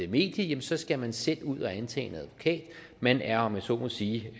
medie skal man selv ud og antage en advokat man er om jeg så må sige